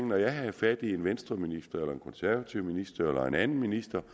når jeg havde fat i en venstreminister eller en konservativ minister eller en anden minister